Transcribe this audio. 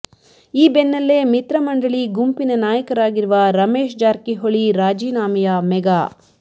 ಈ ಬೆನ್ನಲ್ಲೇ ಮಿತ್ರಮಂಡಳಿ ಗುಂಪಿನ ನಾಯಕರಾಗಿರುವ ರಮೇಶ್ ಜಾರಕಿಹೊಳಿ ರಾಜೀನಾಮೆಯ ಮೆಗಾ